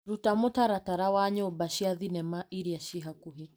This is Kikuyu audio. Ruta mũtaratara wa nyũmba cia thinema iria ci hakuhĩ.